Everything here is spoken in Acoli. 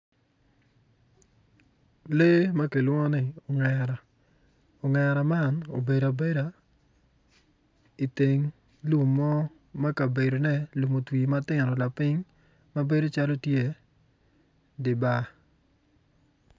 Lee ma kilwongo ni ongera ongera man obedo abeda iteng lum mo ma kabedone lum otwi matino lapiny ma bedo calo tye di bar